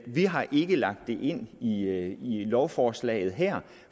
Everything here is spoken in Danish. vi har ikke lagt det ind i lovforslaget her